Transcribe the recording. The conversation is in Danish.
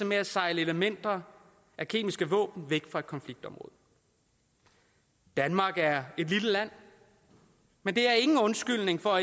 med at sejle elementer af kemiske våben væk fra konfliktområdet danmark er et lille land men det er ingen undskyldning for